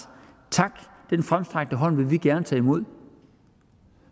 tak den fremstrakte hånd vil vi gerne tage imod